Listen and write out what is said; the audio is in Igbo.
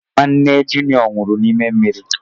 Nwanne junịọ nwụrụ n'ime mmiri.